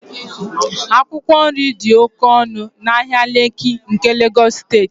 akwụkwọ nri dị oke ọnụ n'ahịa lekki nke Lagos steeti